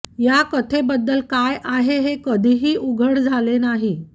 या कथेबद्दल काय आहे हे कधीही उघड झाले नाही